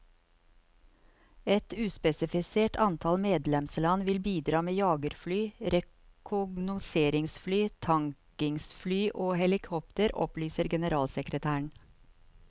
Et uspesifisert antall medlemsland vil bidra med jagerfly, rekognoseringsfly, tankingsfly og helikoptre, opplyser generalsekretæren.